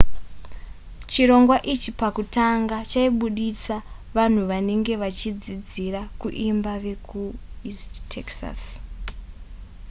chirongwa ichi pakutanga chaibudisa vanhu vanenge vachidzidzira kuimba vekueast texas